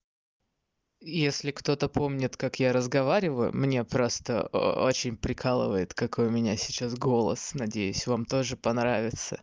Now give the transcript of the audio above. если кто-то помнит как я разговариваю мне просто о очень прикалывает какой у меня сейчас голос надеюсь вам тоже понравится